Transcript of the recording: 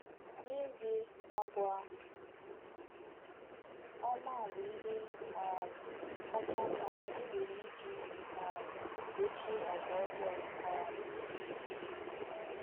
N’ezie, àgwà ọma bụ ihe um kacha mma e nwere iji um dochie àgwà ọjọọ. um